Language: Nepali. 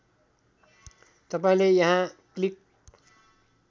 तपाईँले यहाँ क्लिक